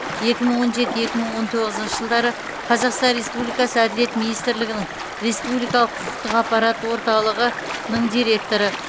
екі мың он жеті екі мың он тоғызыншы жылдары қазақстан республикасы әділет министрлігінің республикалық құқықтық ақпарат орталығының директоры